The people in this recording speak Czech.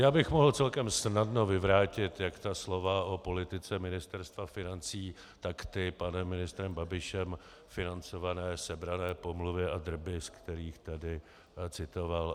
Já bych mohl celkem snadno vyvrátit jak ta slova o politice Ministerstva financí, tak ty panem ministrem Babišem financované sebrané pomluvy a drby, ze kterých tady citoval.